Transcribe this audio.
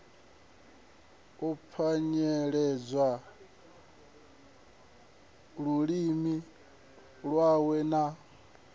u pwanyeledza lulimi lwawe na